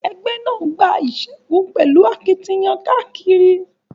Ẹgbẹ́ náà gba ìṣẹ́gun pẹ̀lú àtìlẹ́yìn káàkiri.